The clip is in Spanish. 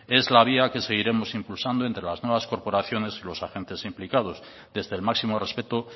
es la vía que seguiremos impulsando entre las nuevas corporaciones y los agentes implicados desde el máximo respeto